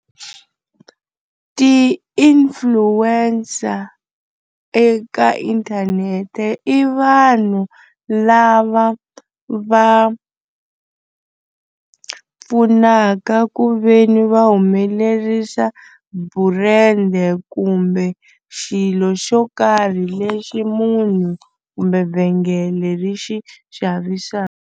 Ti-nfluencer eka inthanete i vanhu lava va pfunaka ku ve ni va humelerisa burendi kumbe xilo xo karhi lexi munhu kumbe vhengele ri xi xavisaka.